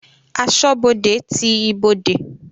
Asọ́bodè ti ibodè.